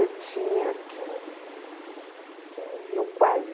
Eu tinha quinze, quinze ou quase